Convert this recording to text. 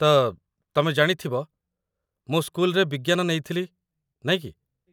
ତ, ତମେ ଜାଣିଥିବ, ମୁଁ ସ୍କୁଲରେ ବିଜ୍ଞାନ ନେଇଥିଲି, ନାଇଁ କି?